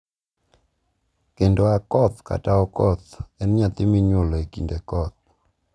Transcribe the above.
kendo Akoth kata Okoth en nyathi minyuolo e kinde koth.